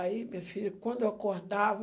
Aí, minha filha, quando eu acordava,